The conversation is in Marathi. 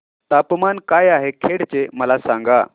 तापमान काय आहे खेड चे मला सांगा